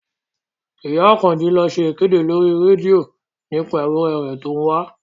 Ìyá Àkànjí ló ṣe ìkéde lórí rédíò nípa ewúrẹ̀ rẹ̀ tó ń wá